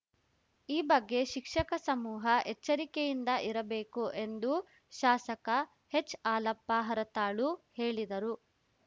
ಈ ಬಗ್ಗೆ ಶಿಕ್ಷಕ ಸಮೂಹ ಎಚ್ಚರಿಕೆಯಿಂದ ಇರಬೇಕು ಎಂದು ಶಾಸಕ ಹೆಚ್‌ಹಾಲಪ್ಪ ಹರತಾಳು ಹೇಳಿದರು